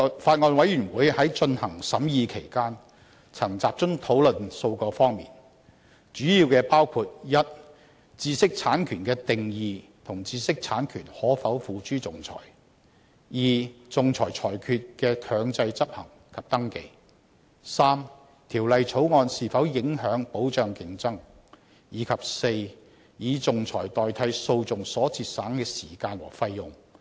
法案委員會在進行審議期間，曾集中討論數個方面，主要包括：一、知識產權的定義和知識產權可否付諸仲裁；二、仲裁裁決的強制執行及登記；三、《條例草案》是否影響保障競爭；及四、以仲裁代替訴訟所節省的時間和費用。